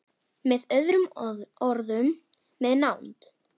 Með öðrum orðum- með nánd.